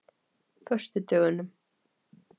föstudögunum